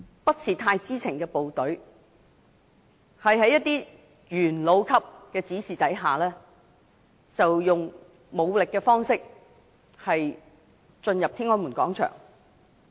不太知情的部隊，在一些元老級人士的指示下，以武力方式進入天安門廣場。